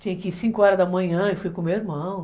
Tinha que ir cinco horas da manhã e fui com o meu irmão.